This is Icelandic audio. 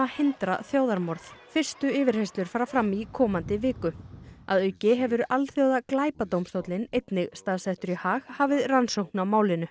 hindra þjóðarmorð fyrstu yfirheyrslur fara fram í komandi viku að auki hefur einnig staðsettur Haag hafið rannsókn á málinu